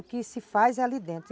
O que se faz é ali dentro.